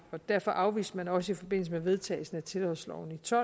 derfor afviste man også i forbindelse med vedtagelsen af tilholdsloven i to